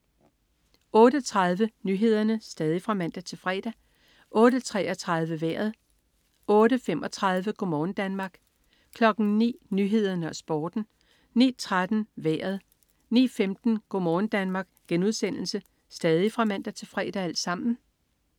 08.30 Nyhederne (man-fre) 08.33 Vejret (man-fre) 08.35 Go' morgen Danmark (man-fre) 09.00 Nyhederne og Sporten (man-fre) 09.13 Vejret (man-fre) 09.15 Go' morgen Danmark* (man-fre)